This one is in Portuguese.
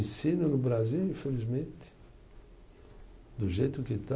Ensino no Brasil, infelizmente, do jeito que está.